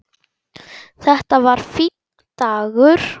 Þetta var fínn dagur.